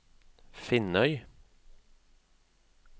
Finnøy